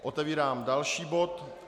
Otevírám další bod.